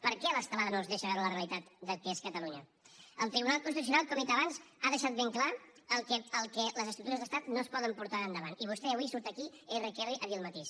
per què l’estelada no els deixa veure la realitat que és catalunya el tribunal constitucional com he dit abans ha deixat ben clar que les estructures d’estat no es poden portar endavant i vostè avui surt aquí erre que erre a dir el mateix